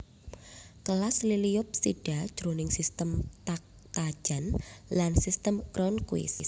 Kelas Liliopsida jroning sistem Takhtajan lan sistem Cronquist